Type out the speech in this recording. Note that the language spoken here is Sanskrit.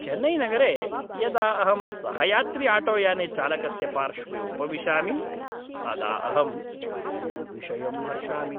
चेन्नैनगरे यदा अहं सहयात्रिआटोयाने चालकस्य पार्श्वे उपविशामि, तदा अहं निर्विषयम् हर्षामि।